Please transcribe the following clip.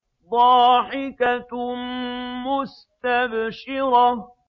ضَاحِكَةٌ مُّسْتَبْشِرَةٌ